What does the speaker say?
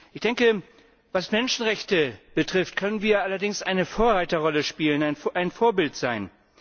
Ich denke, was Menschenrechte betrifft, können wir allerdings eine Vorreiterrolle spielen, ein Vorbild sein.